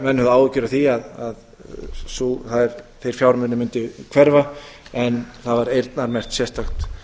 áhyggjur af því að þeir fjármunir mundu hverfa en það var eyrnamerkt sérstakt